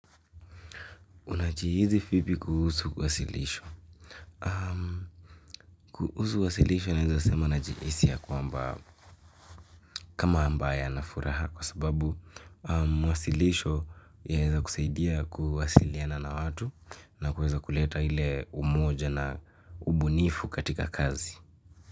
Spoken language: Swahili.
Unachihizi fipi kuhusu wasilisho? Kuhusu wasilisho naeza sema najihisi ya kwamba kama ambaye anfuraha kwa sababu mwasilisho yaeza kusaidia kuwasiliana na watu na kuweza kuleta hile umoja na ubunifu katika kazi.